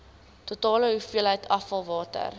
totale hoeveelheid afvalwater